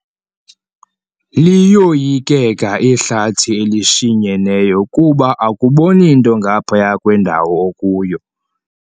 Liyoyikeka ihlathi elishinyeneyo kuba akuboni nto ngaphaya kwendawo okuyo.